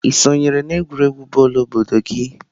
Ị sonyere n'egwuregwu bọọlụ obodo gị?"